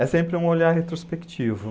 É sempre um olhar retrospectivo.